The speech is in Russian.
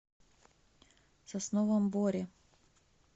сосновом боре